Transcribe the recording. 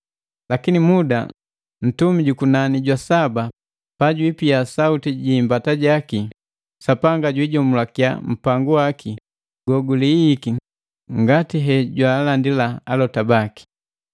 Lakini muda ntumi jukunani jwa saba pajwiipia sauti ji imbata jaki Sapanga jwiijomulakia mpangu waki goguliiiki ngati he jwaalandila alota baki.”